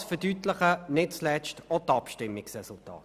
Das verdeutlichen nicht zuletzt auch die Abstimmungsresultate.